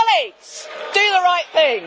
So, colleagues, do the right thing.